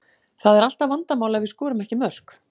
Það er alltaf vandamál ef við skorum ekki mörk.